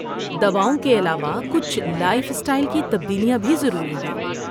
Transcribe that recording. دواؤں کے علاوہ کچھ لائف اسٹائل کی تبدیلیاں بھی ضروری ہیں۔